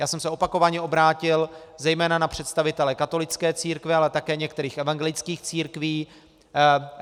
Já jsem se opakovaně obrátil zejména na představitele katolické církve, ale také některých evangelických církví.